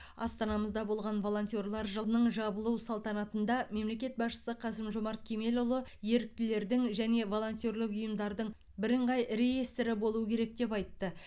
астанамызда болған волнтерлар жылының жабылу салтанатында мемлекет басшысы қасым жомарт кемелұлы еріктілердің және волонтерлік ұйымдардың бірыңғай реестрі болу керек деп айтты